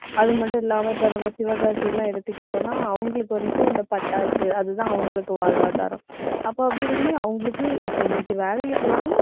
அது மட்டும் இல்லாம இப்ப நம்ம சிவகாசி எல்லாம் எடுத்துக்கிட்டோம்னா அவங்களுக்கு வந்துட்டு, இந்த பட்டாசு அதுதான் அவங்களுக்கு வாழ்வாதாரம். அப்ப அப்படி இருக்கும்போது அவங்களுக்கு, இப்ப இன்னைக்கு வேலைக்கு போறாங்கன்னா